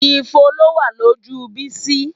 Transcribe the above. Ifo ló wà lójú Bísí